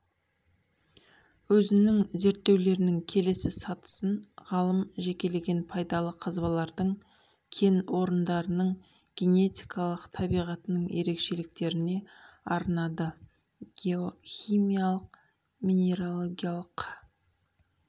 өзінің зертеулерінің келесі сатысын ғалым жекелеген пайдалы қазбалардың кен орындарының генетикалық табиғатының ерекшеліктеріне арнады геохимиялық минералогиялық